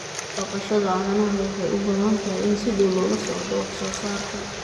Dhaqashada caanaha waxay u baahan tahay in si dhow loola socdo wax soo saarka.